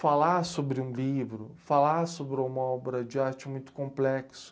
falar sobre um livro, falar sobre uma obra de arte muito complexo